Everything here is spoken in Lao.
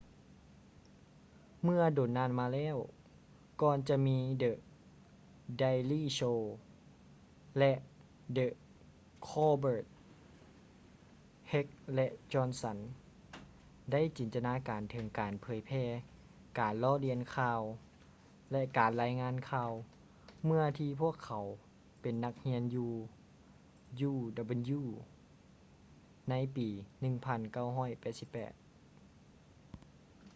ເມື່ອດົນນານມາແລ້ວກ່ອນຈະມີ the daily show ແລະ the colbert heck ແລະ johnson ໄດ້ຈິນຕະນາການເຖິງການພິມເຜີຍແຜ່ການລໍ້ລຽນຂ່າວ ແລະ ການລາຍງານຂ່າວ ເມື່ອທີ່ພວກເຂົາເປັນນັກຮຽນຢູ່ uw ໃນປີ 1988